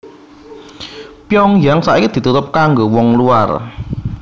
Pyongyang saiki ditutup kanggo wong luar